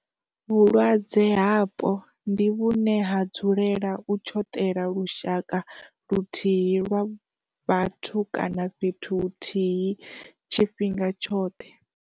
Vhulwadze hapo, ndi vhune ha dzulela u tshoṱela lushaka luthihi lwa vhathu kana fhethu huthihi tshifhinga tshoṱhe.